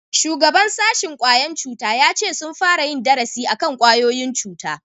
shugaban sashin ƙwayan cuta ya ce sun fara yin darasi akan kwayoyin cuta